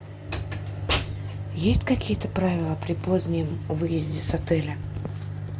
есть какие то правила при позднем выезде с отеля